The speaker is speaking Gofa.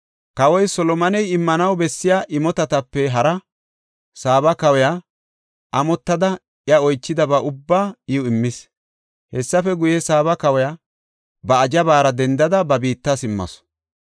Kawoy Solomoney immanaw bessiya imotatape haraa, Saaba kawiya amottada iya oychidaba ubbaa iw immis. Hessafe guye, Saaba kawiya ba ajabara dendada ba biitta simmasu.